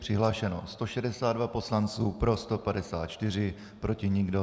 Přihlášeno 162 poslanců, pro 154, proti nikdo.